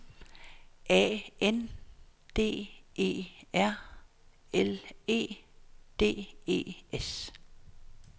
A N D E R L E D E S